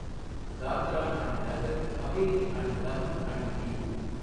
Dadra and Nagar Haveli and Daman and due